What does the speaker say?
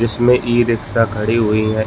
इसमें ई-रिक्शा खड़ी हुई है।